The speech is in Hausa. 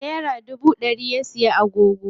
Nera dubu ɗari ya siya agogo.